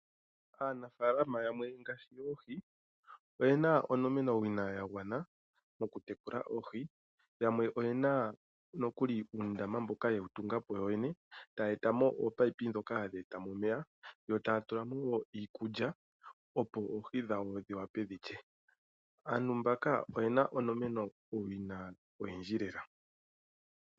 Aanafaalama yamwe ngaashi yoohi, oye na onomenawina ya gwana mokutekula oohi, yamwe oye na nokuli uundama mboka ye wu tunga po yoyene, taya eta mo oopayipi ndhoka hadhi eta mo omeya, yo taya tula mo wo iikulya, opo oohi dhawo dhi wape dhi lye. Aantu mbaka oye na onomenawina oyindji lela.